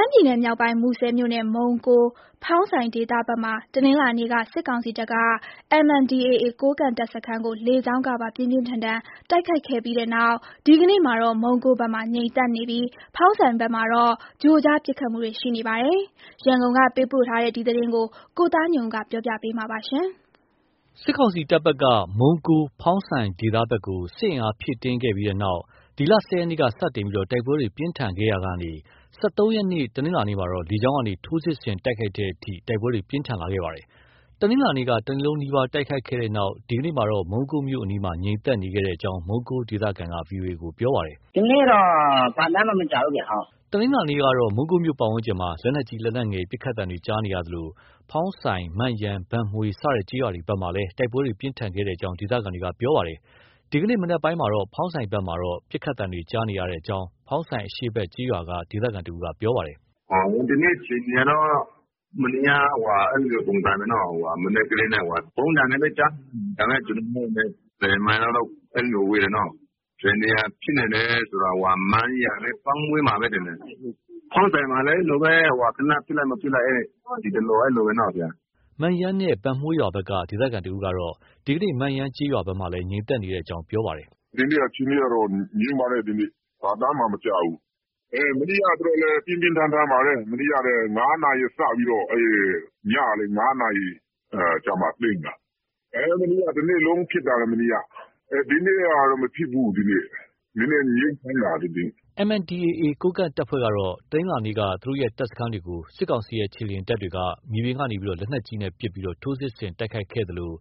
မ်းပြည်နယ်မြောက်ပိုင်း မူဆယ်မြို့နယ် မုံးကိုး၊ ဖောင်းဆိုင်ဒေသဘက်မှာ တနင်္လာနေ့က စစ်ကောင်စီတပ်က MNDAA ကိုးကန့်တပ်စခန်းတွေကို လေကြောင်းကပါ ပြင်းပြင်းထန်ထန် တိုက်ခိုက်ခဲ့တဲ့နောက် ဒီကနေ့မှာတော့ မုံးကိုးဘက်မှာ ငြိမ်သက်နေပြီး ဖောင်းဆိုင်ဘက်မှာတော့ ကြို့ကြား ပစ်ခတ်မှုတွေ ရှိနေပါတယ်။ ရန်ကုန်ကပေးပို့ထားတဲ့ ဒီသတင်းကို ကိုသားညွန့်ဦးကတင်ပြထားပါတယ်။ စစ်ကောင်စီတပ်ဘက်က မုံးကိုး၊ ဖောင်းဆိုင်ဒေသဘက်ကို စစ်အင်အားဖြည့်တင်းခဲ့တဲ့နောက် ဒီလ ၁၀ ရက်နေ့က စတင်ပြီး တိုက်ပွဲတွေ ပြင်းထန်ခဲ့ရာက ၁၃ ရက်နေ့ တနင်္လာနေ့မှာတော့ လေကြောင်းက ထိုးစစ်ဆင် တိုက်ခိုက်တဲ့အထိ တိုက်ပွဲတွေ ပြင်းထန်လာခဲ့တာပါ။ တနင်္လာနေ့က တနေ့လုံးနီးပါး တိုက်ခိုက်ခဲ့တဲ့နောက် ဒီကနေ့မှာတော့ မုံးကိုးမြို့အနီးမှာ ငြိမ်သက်နေခဲ့ကြောင်း မုံးကိုး ဒေသခံက VOA ကို ပြောပါတယ်။ “ဒီနေ့တော့ ဘာသံမှ မကြားဘူးဗျ။ ” တနင်္လာနေ့ကတော့မုံးကိုးမြို့ပတ်ဝန်းကျင်မှာ လက်နက်ကြီး၊ လက်နက်ငယ် ပစ်ခတ်သံတွေကြားနေရသလို ဖောင်းဆိုင်၊ မန့်ယန်၊ ဘန်မွှေး စတဲ့ ကျေးရွာတွေဘက် မှာလည်း တိုက်ပွဲပြင်းထန်ခဲ့ကြောင်း ဒေသခံတွေက ပြောပါတယ်။ ဒီကနေ့ မနက်ပိုင်းမှာ ဖောင်းဆိုင်ဘက်မှာတော့ ပစ်ခတ်သံတွေ ကြားနေရကြောင်း ဖောင်းဆိုင်အရှေ့ဘက် ကျေးရွာက ဒေသခံတဦးကပြောပါတယ်။ “ဒီကနေ့ အခြေအနေကတော့ မနေ့က ပုံစံပဲနော။ မနက်တည်းက ဗုံးသံနည်းနည်း ကြားနေရပြီ။ ဒါပေမဲ့ ကျနော်တို့နဲ့လည်း ၁၀ မိုင်လောက်တော့ ဝေးတယ်နော။ ဘယ်နေရာဖြစ်နိုင်လဲဆို မန့်ယန်နဲ့ ဘန့်မွှေးမှာပဲ ထင်တယ်။ ဖောင်းဆိုင်မှာလည်း အဲလိုပဲ သေနတ်ပစ်လိုက် မပစ်လိုက် အဲလိုပဲ ဆရာ။” မန့်ယန်နဲ့ ဘန့်မွှေးရွာဘက်က ဒေသခံတစ်ဦးကတော့ ဒီကနေ့ မန့်ယန်ကျေးရွာ ဘက်မှာလည်း ငြိမ်သက်နေကြောင်း ပြောပါတယ်။ “ဒီနေ့ အခြေအနေကတော့ ငြိမ်ပါတယ်။ ဒီနေ့။ ဘာသံမှ မကြားဘူး။ မနေ့ကတော့လည်း ပြင်းပြင်းထန်ထန်ပါပဲ။ မနေ့က ၅ နာရီစပြီးတော့ ညနေ ၅နာရီကျမှ သိမ်းတာ။ မနေ့က တနေ့လုံးဖြစ်တာ မနေ့က။ ဒီနေ့ကတော့ မဖြစ်ဘူး။ နည်းနည်း ငြိမ်နေတာလေ ဒီနေ့။ ” MNDAA ကိုးကန့်တပ်ဖွဲ့ကတော့ တနင်္လာနေ့က သူတို့ ရဲ့တပ်စခန်းတွေကို စစ်ကောင်စီရဲ့ ခြေလျင်တပ်တွေက မြေပြင်က လက်နက်ကြီးနဲ့ပစ်ပြီး ထိုးစစ် တိုက်ခိုက် ခဲ့သလို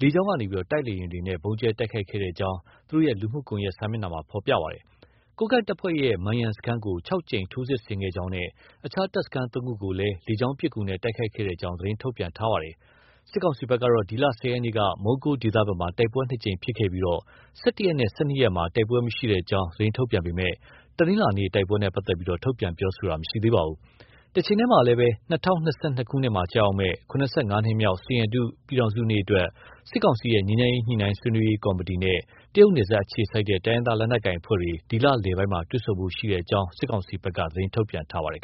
လေကြောင်းက တိုက်လေယာဉ်တွေနဲ့ ဗုံးကြဲတိုက်ခိုက်ခဲ့ကြောင်း သူတို့ လူမှုကွန်ရက်စာမျက်နှာမှာ ဖော်ပြထားပါတယ်။ ကိုးကန့်တပ်ဖွဲ့ရဲ့ မန်ရန်စခန်းကို ၆ ကြိမ် ထိုးစစ်ဆင်ခဲ့ကြောင်းနဲ့ အခြား တပ်စခန်း ၃ ခုကိုလည်း လေကြောင်းပစ်ကူနဲ့ တိုက်ခိုက်ခဲ့ကြောင်း သတင်းထုတ်ပြန်ထားပါတယ်။ စစ်ကောင်စီဘက်ကတော့ ဒီလ ၁၀ ရက်နေ့က မုံးကိုး ဒေသဘက်မှာ တိုက်ပွဲ ၂ ကြိမ်ဖြစ်ခဲ့ပြီး၁၁ ရက်နဲ့ ၁၂ ရက်မှာ တိုက်ပွဲမရှိကြောင်း သတင်းထုတ်ပြန်ပေမဲ့ တနင်္လာနေ့ တိုက်ပွဲနဲ့ပတ်သက်ပြီး ထုတ်ပြန်တာ မရှိသေးပါဘူး။ တချိန်တည်းမှာပဲ ၂၀၂၂ ခုနှစ်မှာ ကျရောက်မယ့် ၇၅ နှစ်ပြည့် စိန်ရတု ပြည်ထောင်စုနေ့အတွက် စစ်ကောင်စီရဲ့ ငြိမ်းချမ်းရေးညှိနှိုင်းဆွေးနွေးရေး ကော်မတီနဲ့ တရုတ် နယ်စပ်အခြေစိုက် တိုင်းရင်းသားလက်နက်ကိုင်အဖွဲ့တွေ ဒီလလယ်ပိုင်းမှာ တွေ့ဆုံဖို့ ရှိကြောင်း စစ်ကောင်စီဘက်က သတင်းထုတ်ပြန်ထားပါတယ်